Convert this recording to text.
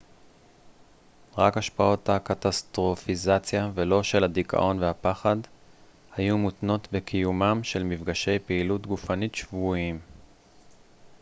רק השפעות הקטסטרופיזציה ולא של הדיכאון והפחד היו מותנות בקיומם של מפגשי פעילות גופנית שבועיים